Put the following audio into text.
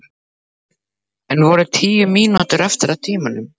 Enn voru tíu mínútur eftir af tímanum.